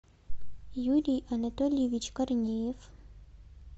юрий анатольевич корнеев